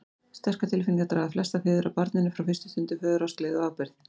Sterkar tilfinningar draga flesta feður að barninu frá fyrstu stundu, föðurást, gleði og ábyrgð.